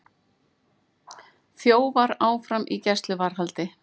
Þjófar áfram í gæsluvarðhaldi